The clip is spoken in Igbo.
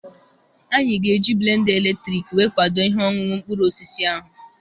Anyị ga-eji blenda eletrik we kwadoo ihe ọṅụṅụ mkpụrụ osisi ahụ.